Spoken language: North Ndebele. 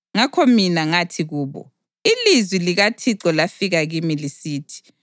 Ngakho mina ngathi kubo, “Ilizwi likaThixo lafika kimi lisithi: